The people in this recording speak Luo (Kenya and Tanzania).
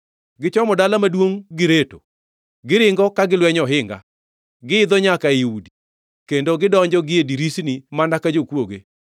Gichomo dala maduongʼ gireto, giringo ka gilwenyo ohinga, giidho nyaka ei udi; kendo gidonjo gie dirisni mana ka jokwoge.